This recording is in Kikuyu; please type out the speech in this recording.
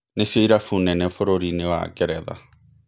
Nĩcio irabu nene bũrũri-inĩ wa Ngeretha".